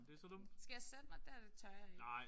Skal jeg sætte mig der? Det tør jeg ikke